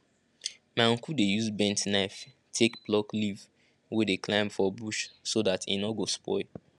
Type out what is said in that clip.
my uncle dey use bent knife take pluck leaf wey dey climb for bush so dat e nor go spoil